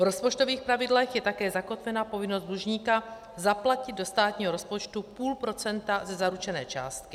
V rozpočtových pravidlech je také zakotvena povinnost dlužníka zaplatit do státního rozpočtu půl procenta ze zaručené částky.